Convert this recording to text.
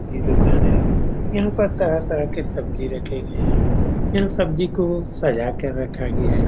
सब्जी की दुकान है यहाँ पर तरह तरह के सब्जी रखे गये है यहाँ सब्जी को सजा के रखा गया है।